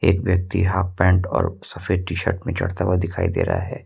एक व्यक्ति half pant और सफेद टी_शर्ट में चढ़ता हुआ दिखाई दे रहा है।